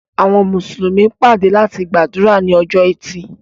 Àwọn Mùsùlùmí pàdé láti gbàdúrà ni ọjọ́ ẹti.